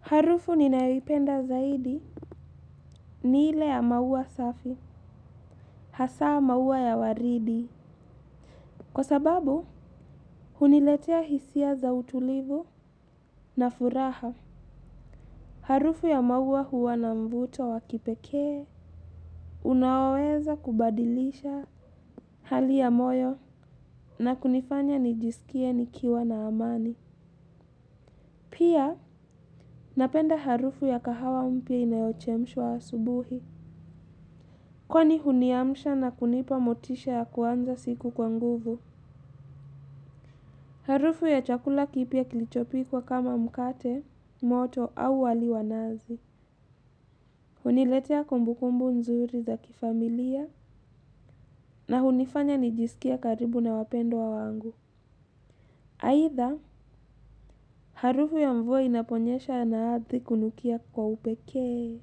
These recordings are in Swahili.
Harufu ninayoipenda zaidi ni ile ya maua safi, hasaa maua ya waridi. Kwa sababu, huniletea hisia za utulivu na furaha. Harufu ya maua huwa na mvuto wa kipekee, unaweza kubadilisha hali ya moyo na kunifanya nijisikie nikiwa na amani. Pia, napenda harufu ya kahawa mpya inayochemshwa asubuhi. Kwani huniamsha na kunipa motisha ya kuanza siku kwa nguvu. Harufu ya chakula kipya kilichopikwa kama mkate, moto au wali wa nazi. Huniletea kumbukumbu nzuri za kifamilia na hunifanya nijisikie karibu na wapendwa wangu. Haitha, harufu ya mvua inaponyesha na ardhi kunukia kwa upekee.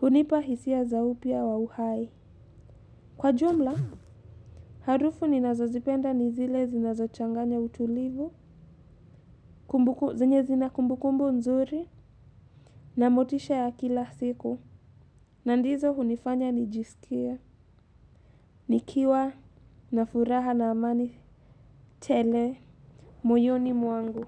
Hunipa hisia za upya wa uhai. Kwa jumla, harufu ninazozipenda ni zile zinazo changanya utulivu, zinye zina kumbu kumbu nzuri, na motisha ya kila siku, na ndizo hunifanya nijisikie, nikiwa, na furaha na amani, tele, moyoni mwangu.